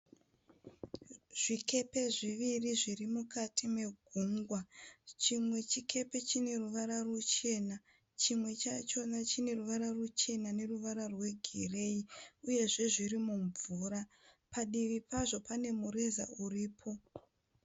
Zvikepe zviviri zvirimukati megungwa. Chimwe chikepe chineruvara ruchena chimwe chachona chineruvara ruchena neruvara rwegireyi. Uyezve zvirimumvura. Padivi pazvo panemureza uripo.